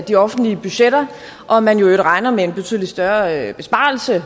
de offentlige budgetter og man regner med en betydelig større besparelse